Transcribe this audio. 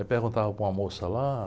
Aí perguntava para uma moça lá.